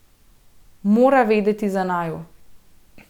Mora vedeti za naju.